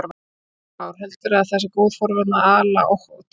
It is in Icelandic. Heimir Már: Heldurðu að það sé góð forvörn að, að ala á ótta?